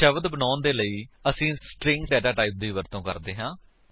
ਸ਼ਬਦ ਬਣਾਉਣ ਦੇ ਲਈ ਅਸੀ ਸਟਰਿੰਗ ਡੇਟਾ ਟਾਈਪ ਦੀ ਵਰਤੋ ਕਰਦੇ ਹਾਂ